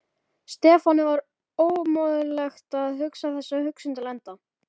Stefáni var ómögulegt að hugsa þessa hugsun til enda.